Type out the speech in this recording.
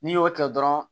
N'i y'o tigɛ dɔrɔn